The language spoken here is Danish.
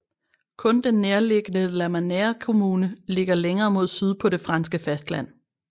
Kun den nærliggende Lamanère kommune ligger længere mod syd på det franske fastland